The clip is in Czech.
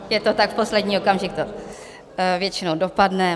Je to tak, v posledním okamžiku to většinou dopadne.